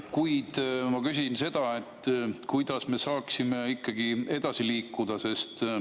Kuid ma küsin seda, kuidas me saaksime ikkagi edasi liikuda.